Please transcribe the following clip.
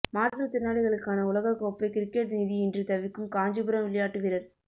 மாற்றுத் திறனாளிகளுக்கான உலகக் கோப்பை கிரிக்கெட் நிதியின்றி தவிக்கும் காஞ்சிபுரம் விளையாட்டு வீரர்